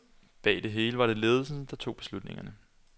Bag det hele var det ledelsen, der tog beslutningerne.